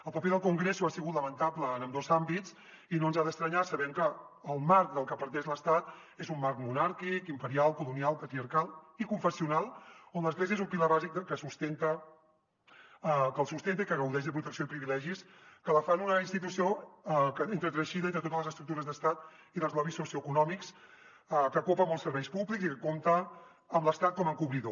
el paper del congreso ha sigut lamentable en ambdós àmbits i no ens ha d’estranyar sabent que el marc del que parteix l’estat és un marc monàrquic imperial colonial patriarcal i confessional on l’església és un pilar bàsic que el sustenta i que gaudeix de protecció i privilegis que la fan una institució entreteixida entre totes les estructures d’estat i dels lobbys socioeconòmics que copa molts serveis públics i que compta amb l’estat com a encobridor